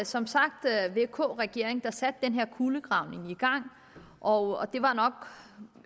som sagt vk regeringen der satte den her kulegravning i gang og det var nok